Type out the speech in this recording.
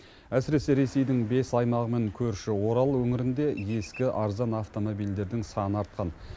әсіресе ресейдің бес аймағымен көрші орал өңірінде ескі арзан автомобильдердің саны артқан